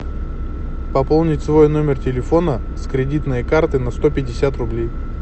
пополнить свой номер телефона с кредитной карты на сто пятьдесят рублей